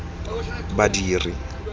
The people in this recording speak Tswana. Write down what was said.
badiri